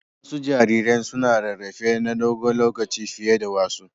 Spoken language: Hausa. Wasu jariran suna rarrafe na dogon lokaci fiye da wasu.